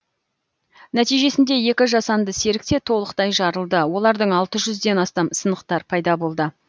нәтижесінде екі жасанды серік те толықтай жарылды олардан алты жүзден астам сынықтар пайда болды